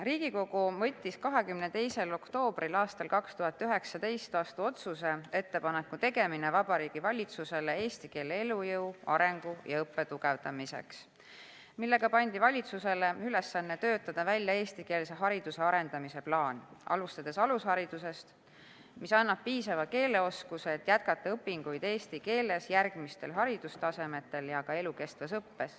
Riigikogu võttis 22. oktoobril 2019 vastu otsuse "Ettepaneku tegemine Vabariigi Valitsusele eesti keele elujõu, arengu ja õppe tugevdamiseks", millega pandi valitsusele ülesanne töötada välja eestikeelse hariduse arendamise plaan, alustades alusharidusest, mis annab piisava keeleoskuse, et jätkata õpinguid eesti keeles järgmistel haridustasemetel ja elukestvas õppes.